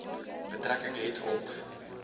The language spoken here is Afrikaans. betrekking het op